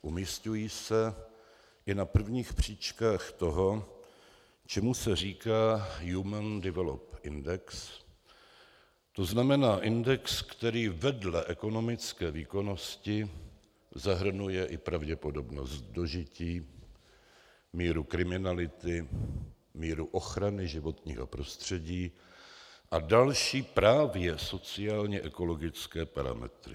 Umisťují se i na prvních příčkách toho, čemu se říká human development index, to znamená index, který vedle ekonomické výkonnosti zahrnuje i pravděpodobnost dožití, míru kriminality, míru ochrany životního prostředí a další právě sociálně ekologické parametry.